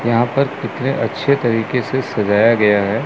यहां पर कितने अच्छे तरीके से सजाया गया है।